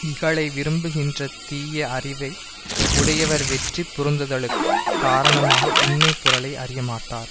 இகலை விரும்புகின்ற தீய அறிவை உடையவர் வெற்றி பொருந்துதலுக்குக் காரணமாக உண்மை பொருளை அறியமாட்டார்